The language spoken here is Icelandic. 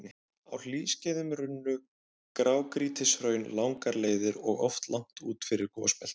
Á hlýskeiðum runnu grágrýtishraun langar leiðir og oft langt út fyrir gosbeltin.